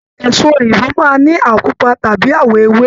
Èso òyìnbó máa n ní awọ pupa tàbí awọ ewé.